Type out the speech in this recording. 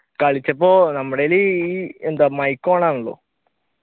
കളിച്ചപ്പോ നമ്മുടെയിൽ എന്താ mic ഓണാണെല്ലോ